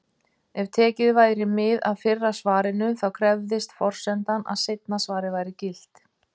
Ef tekið væri mið af fyrra svarinu, þá krefðist forsendan að seinna svarið væri gilt.